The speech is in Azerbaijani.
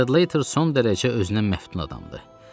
Stradlater son dərəcə özünə məftun adamdır.